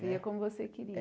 Ia como você queria.